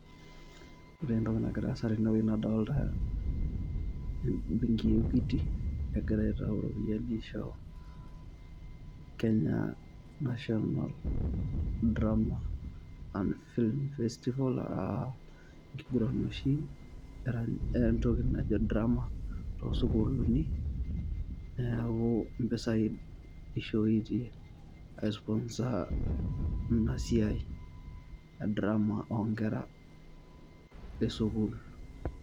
Ore entoki nagira aasa tene wueji nadolita embenki e Equity nagirai aitayu iropiyiani aisho Kenya National drama and films festival aa enkiguran oshi entoki najo drama to schoolini neeuku impisai eishoitie ai sponsor ina siai e drama oonkera te schoo.